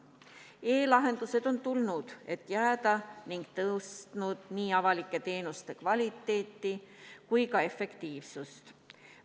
E-lahendused on tulnud, et jääda, ning tõstnud nii avalike teenuste kvaliteeti kui ka efektiivsust.